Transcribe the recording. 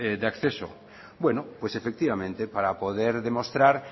de acceso bueno pues efectivamente para poder demostrar